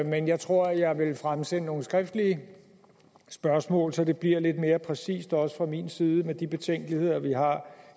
men jeg tror jeg vil fremsende nogle skriftlige spørgsmål så det bliver lidt mere præcist også fra min side med de betænkeligheder vi har